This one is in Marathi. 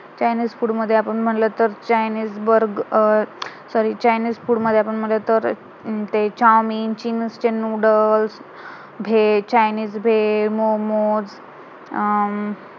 chinese food मध्ये आपण म्हंटल तर chinese burger sorrychinese food मध्ये आपण म्हंटल तर ते चौमेन, ते चिन्ग्स चे नूडल्स भेड, चायनीज भेड, मोमोस अं